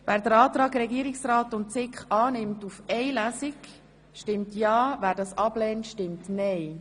Wer den Antrag von Regierungsrat und SiK auf die Durchführung von nur einer Lesung annimmt, stimmt ja, wer dies ablehnt, stimmt nein.